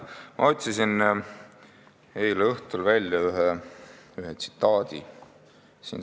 Ma otsisin eile õhtul välja ühe tsitaadi.